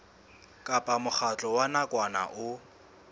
kapa mokgatlo wa nakwana o